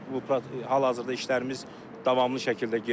Bu hal-hazırda işlərimiz davamlı şəkildə gedir.